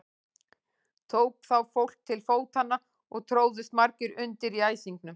Tók þá fólk til fótanna og tróðust margir undir í æsingnum.